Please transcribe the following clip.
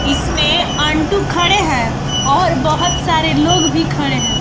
इसमें आंटू खड़े हैं और बहुत सारे लोग भी खड़े हैं।